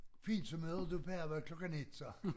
Fint så møder du på arbejde klokken 1 så